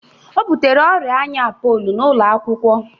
O butere ọrịa anya apoolo n'ụlọakwụkwọ